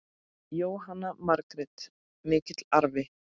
Jóhanna Margrét: Mikill arfi?